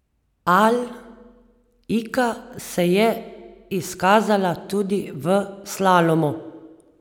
A Ilka se je izkazala tudi v slalomu.